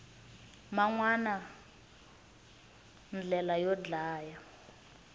man wana ndlela yo dlaya